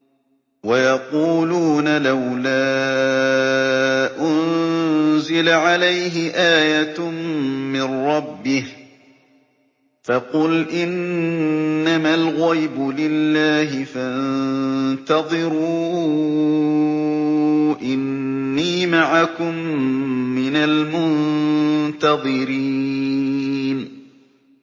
وَيَقُولُونَ لَوْلَا أُنزِلَ عَلَيْهِ آيَةٌ مِّن رَّبِّهِ ۖ فَقُلْ إِنَّمَا الْغَيْبُ لِلَّهِ فَانتَظِرُوا إِنِّي مَعَكُم مِّنَ الْمُنتَظِرِينَ